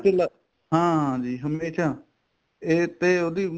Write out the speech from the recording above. ਚੂਲਾ ਹਾਂ ਜੀ ਹਮੇਸ਼ਾ ਇਹ ਤੇ ਉਹਦੀ